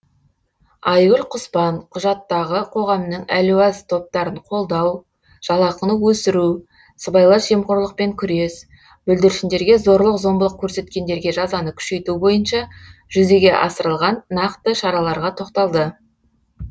айгүл құспан құжаттағы қоғамның әлуаз топтарын қолдау жалақыны өсіру сыбайлас жемқорлықпен күрес бүлдіршіндерге зорлық зомбылық көрсеткендерге жазаны күшейту бойынша жүзеге асырылған нақты шараларға тоқталды